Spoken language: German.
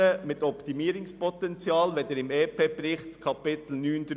Sie sind im Bericht zum EP im Kapitel 9.3 aufgeführt.